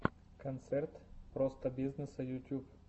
концерт простобизнесса ютюб